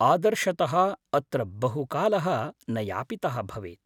आदर्शतः अत्र बहुकालः न यापितः भवेत्।